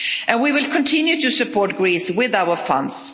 We will continue to support Greece with our funds.